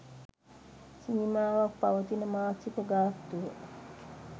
සීමාවක් පවතින මාසික ගාස්තුව